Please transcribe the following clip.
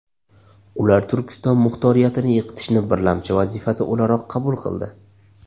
Ular Turkiston muxtoriyatini yiqitishni birlamchi vazifasi o‘laroq qabul qildi.